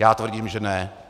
Já tvrdím, že ne.